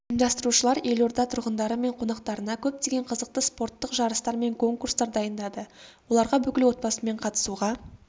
ұйымдастырушылар елорда тұрғындары мен қонақтарына көптеген қызықты спорттық жарыстар мен конкурстар дайындады оларға бүкіл отбасымен қатысуға